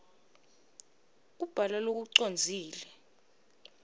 kubhala lokucondzile